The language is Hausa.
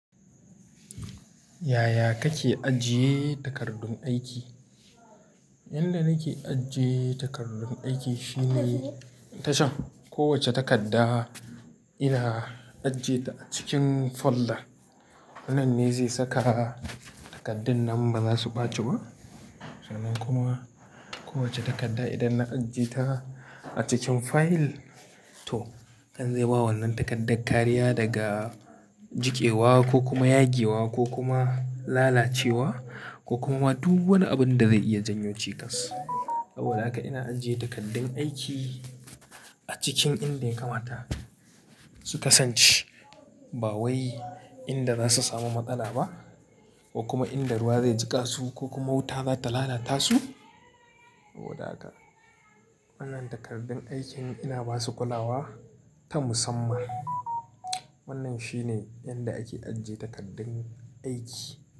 Yaya kake ajiye takardun aiki? Yanda nake ajiye takardun aiki shine ta shan kowace takarda ina ajiyeta a cikin folder. Wannan ne zai saka takardun nan baza su ɓaci ba. Sanan kuma kowace takarda idan na ajiye ta a cikin file toh kan zai bawa wannan takardar kariya daga jikewa ko kuma yage wa ko kuma lalacewa ko kuma wani abu da zai iya janyo cikas. Saboda haka ina ajiye takardun aiki a cikin inda ya kamata su kasance. Bawayi inda zasu samu matsala ba ko kuma inda ruwa zai jika su ko kuma wuta za ta lala tasu. Saboda haka wannan takardun aikin ina basu kulawa ta musamman. Wannan shine yanda ake ajiye takardun aiki.